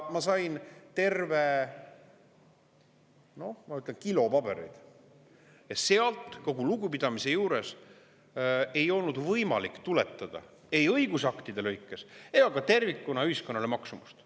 Ma sain terve kilo pabereid ja sealt, kogu lugupidamise juures, ei olnud võimalik tuletada ei õigusaktide lõikes ega ka tervikuna ühiskonnale maksumust.